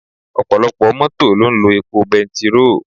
Ọ̀pọ̀lọpọ̀ Mọ́tò ló ń lo epo bẹntiróò